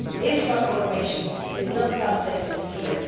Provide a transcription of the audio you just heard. This transformation is not something to fear.